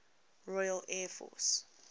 royal air force